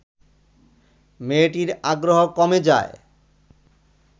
মেয়েটির আগ্রহ কমে যায়